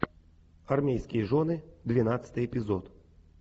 армейские жены двенадцатый эпизод